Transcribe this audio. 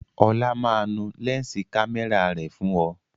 Ọlá máa nu lẹ́ǹsì kámẹ́rà rẹ̀ fún ọ